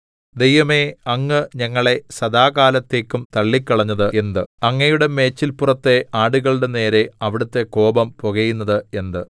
ദൈവമേ അങ്ങ് ഞങ്ങളെ സദാകാലത്തേക്കും തള്ളിക്കളഞ്ഞത് എന്ത് അങ്ങയുടെ മേച്ചില്പുറത്തെ ആടുകളുടെ നേരെ അവിടുത്തെ കോപം പുകയുന്നത് എന്ത്